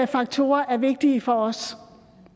faktorer er vigtige for os